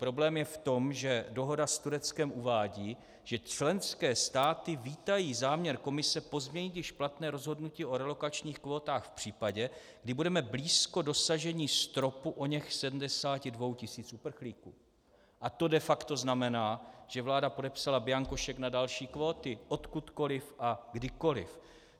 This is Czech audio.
Problém je v tom, že dohoda s Tureckem uvádí, že členské státy vítají záměr Komise pozměnit již platné rozhodnutí o relokačních kvótách v případě, kdy budeme blízko dosažení stropu oněch 72 tisíc uprchlíků, a to de facto znamená, že vláda podepsala bianko šek na další kvóty odkudkoliv a kdykoliv.